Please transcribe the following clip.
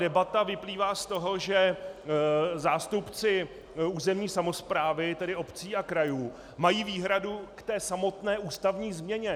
Debata vyplývá z toho, že zástupci územní samosprávy, tedy obcí a krajů, mají výhradu k té samotné ústavní změně.